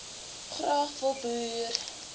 graag wil boer